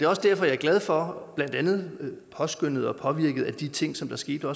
også derfor jeg er glad for at der blandt andet påskønnet og påvirket af de ting som der skete